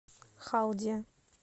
халдия